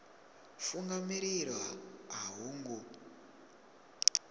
funga mililo a ho ngo